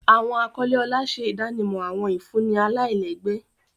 Awọn akọle ọlá ṣe idanimọ awọn ifunni alailẹgbẹ.